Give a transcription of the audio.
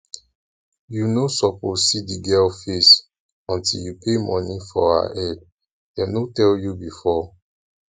you no suppose see the girl face until you pay money for her head dem no tell you before